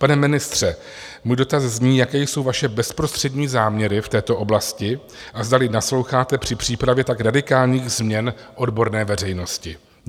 Pane ministře, můj dotaz zní: Jaké jsou vaše bezprostřední záměry v této oblasti a zdali nasloucháte při přípravě tak radikálních změn odborné veřejnosti?